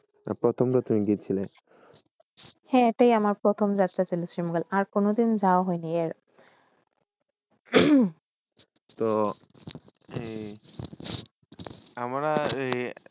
প্রথম তা শিলে হয়ে তাই তা আমরা প্রথম যাত্রা শীল আর কোন দিন জব হয়নে